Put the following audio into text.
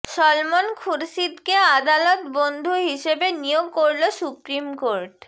সলমন খুরশিদকে আদালত বন্ধু হিসেবে নিয়োগ করল সুপ্রিম কোর্ট